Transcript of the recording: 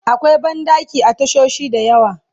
akwai banɗaki a tashoshi da yawa